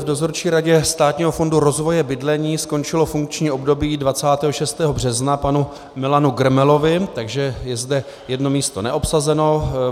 V Dozorčí radě Státního fondu rozvoje bydlení skončilo funkční období 26. března panu Milanu Grmelovi, takže je zde jedno místo neobsazeno.